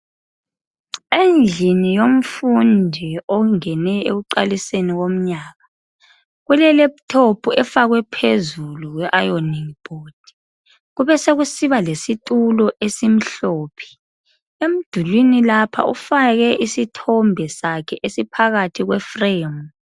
Endlini yomfundi ongene ekuqaliseni komnyaka ulelepthophu efakwe phezulu kwe ayoningi bhodi kubesekusiba lesitulo ezimhlophe emdulwini lapha ufake isithombe sakhe esiphakathi kwefremu